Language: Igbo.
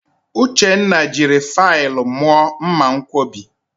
Uchenna jiri faịlụ mụọ mmanwkọbi